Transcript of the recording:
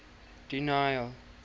daniel